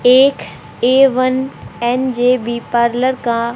एक A one N J B parlour का--